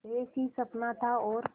एक ही सपना था और